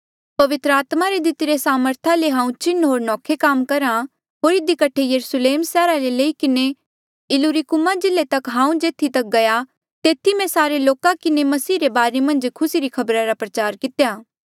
पवित्र आत्मा रे दितिरे सामर्था ले हांऊँ चिन्ह होर नौखे काम करहा होर इधी कठे यरुस्लेम सैहरा ले लई किन्हे इल्लुरिकुमा जिल्ले तक हांऊँ जेथी तक गया तेथी मै सारे लोका किन्हें मसीह रे बारे मन्झ खुसी री खबरा रा प्रचार कितेया